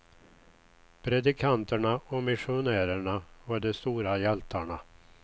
Predikanterna och missionärerna var de stora hjältarna.